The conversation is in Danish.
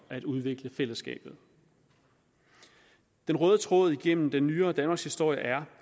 at udvikle fællesskabet den røde tråd igennem den nyere danmarkshistorie er